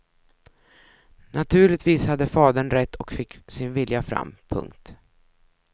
Naturligtvis hade fadern rätt och fick sin vilja fram. punkt